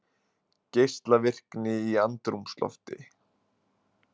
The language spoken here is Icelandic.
Geislavirkni í andrúmslofti